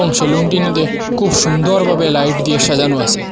এবং সেলুনটিনিতে খুব সুন্দরভাবে লাইট দিয়ে সাজানো আসে।